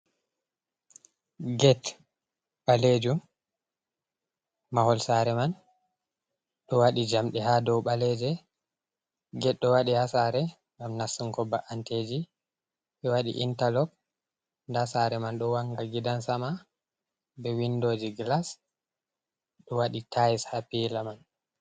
Get ɓalejum, mahol sare man ɗo waɗi jamdi ha dow ɓaleje. get ɗo waɗe hasare ngam nassungo ba’anteji, ɓe waɗi intalok nda sare man ɗo wanga gidansama be windoji gilas ɗo waɗi tayis ha pila man.